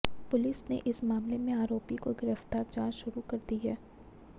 police ने इस मामले में आरोपी को गिरफ्तार जांच शुरू कर दी है